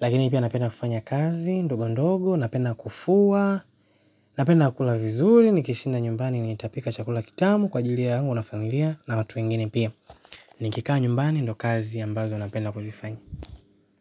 Lakini pia napenda kufanya kazi, ndogo ndogo, napenda kufua napenda kula vizuri, nikishinda nyumbani, nitapika chakula kitamu kwa ajilia yangu na familia na watu wengine pia. Nikikaa nyumbani, ndo kazi ambazo napenda kufanya.